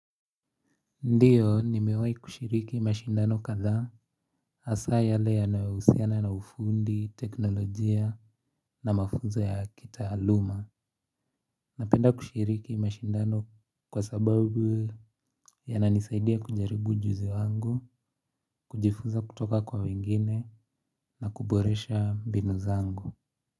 Ndiyo ni mewahi kushiriki mashindano kadhaa hasa yale yanayohusiana na ufundi, teknolojia na mafuzo ya kitaaluma. Napenda kushiriki mashindano kwa sababu yananisaidia kujaribu ujuzi wangu, kujifuza kutoka kwa wengine na kuboresha mbinu zangu.